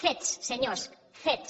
fets senyors fets